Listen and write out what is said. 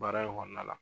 Baara in kɔnɔna la